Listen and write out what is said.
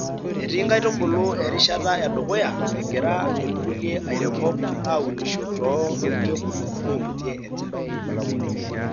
Etii nkaitubulu erishata e dukuya , egira irkulie airemok aunisho too irkekuno oimutie enchan.